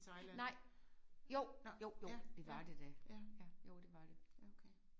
Nej jo jo jo det var det da. Jo det var det